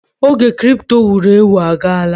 Oge kripto wuru ewu agaala.